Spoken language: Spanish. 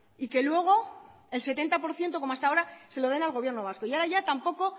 y que luego el setenta por ciento como hasta ahora se lo den al gobierno vasco y ahora ya tampoco